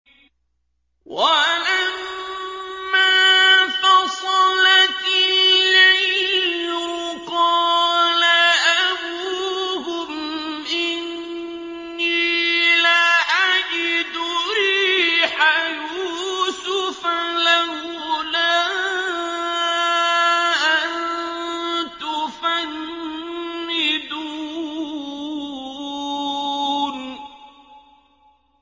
وَلَمَّا فَصَلَتِ الْعِيرُ قَالَ أَبُوهُمْ إِنِّي لَأَجِدُ رِيحَ يُوسُفَ ۖ لَوْلَا أَن تُفَنِّدُونِ